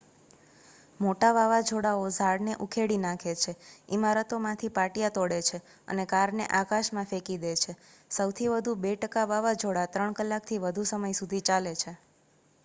મોટા વાવાઝોડાઓ ઝાડને ઉખેડી નાખે છે ઇમારતોમાંથી પાટિયા તોડે છે અને કારને આકાશમાં ફેંકી દે છે સૌથી વધુ 2 ટકા વાવાઝોડા 3 કલાકથી વધુ સમય સુધી ચાલે છે